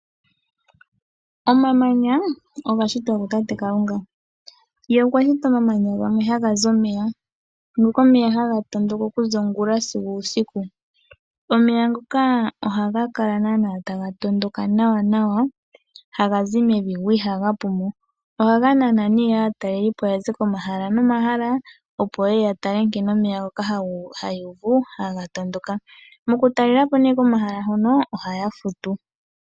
Omamanya oga shitwa kutate Kalunga. Ye okwa shita omamanya gamwe haga zi omeya. Ngiika omeya haga tondoka okuza ongula sigo uusiku. Omeya ngoka ohaga kala naana taga tondoka nawanawa haga zi mevi go ihaga pumo. Ohaga nana nee aatalelipo ya ze komahala nomahala, opo ye ye ya tale nkene omeya ngoka haya uvu haga tondoka. Mokutalela po nee komahala hono ohaya futu.